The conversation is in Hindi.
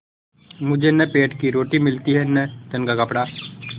मुझे न पेट की रोटी मिलती है न तन का कपड़ा